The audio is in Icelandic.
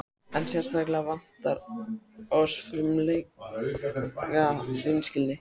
En sérstaklega vantar oss frumlega hreinskilni.